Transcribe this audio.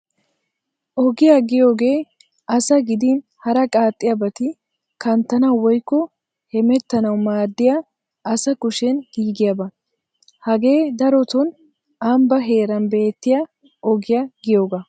Ogiyaa giyoogee asaa gidin hara qaaxxiyaabati kanttanawu woykko hemetanawu maadiyaa asa kushen giigiyaabaa. Hagee daroton ambbaa heeran beettiyaa ogiyaa giyoogaa.